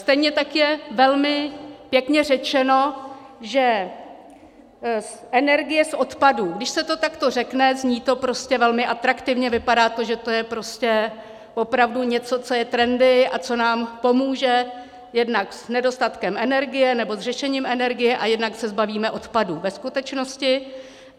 Stejně tak je velmi pěkně řečeno, že energie z odpadů - když se to takto řekne, zní to prostě velmi atraktivně, vypadá to, že to je prostě opravdu něco, co je trendy a co nám pomůže jednak s nedostatkem energie nebo s řešením energie, a jednak se zbavíme odpadů ve skutečnosti.